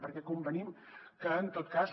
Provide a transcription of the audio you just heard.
perquè convenim que en tot cas